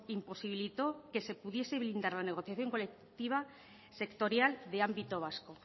imposibilitó que se pudiese blindar la negociación colectiva sectorial de ámbito vasco